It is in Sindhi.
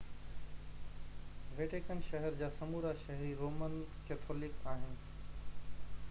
ويٽيڪن شهر جا سمورا شهري رومن ڪيٿولڪ آهن